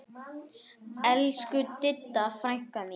Elsku Didda frænka mín.